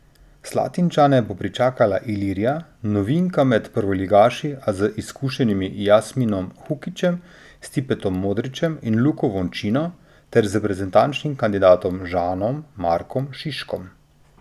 Slatinčane bo pričakala Ilirija, novinka med prvoligaši, a z izkušenimi Jasminom Hukićem, Stipetom Modrićem in Luko Vončino ter z reprezentančnim kandidatom Žanom Markom Šiškom.